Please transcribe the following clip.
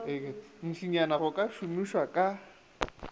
ntšinyana go ka thomiša ka